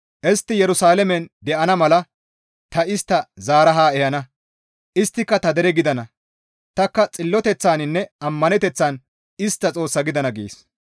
Istti Yerusalaamen de7ana mala ta istta zaara haa ehana; isttika ta dereta gidana; tanikka xilloteththaninne ammaneteththan istta Xoossa gidana» gees.